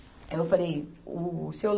Aí eu falei, o Seu